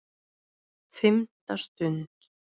FIMMTA STUND